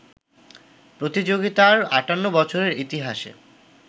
প্রতিযোগিতার ৫৮ বছরের ইতিহাসে